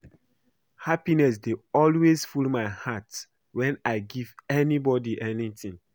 Happiness dey always full my heart wen I give anybody anything